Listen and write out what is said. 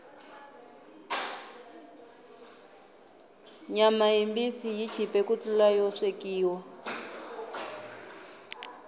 nyama yimbisi yi chipe ku tlula yo swekiwa